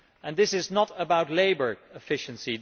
This is not about labour efficiency